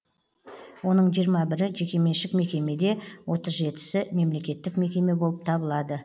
оның жиырма бірі жекеменшік мекеме де отыз жетісі мемлекеттік мекеме болып табылады